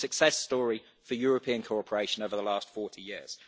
It has been a success story for European cooperation over the last 40 years.